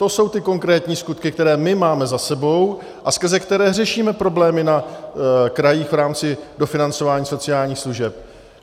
To jsou ty konkrétní skutky, které my máme za sebou a skrze které řešíme problémy na krajích v rámci dofinancování sociálních služeb.